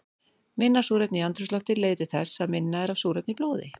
Minna súrefni í andrúmslofti leiðir til þess að minna er af súrefni í blóði.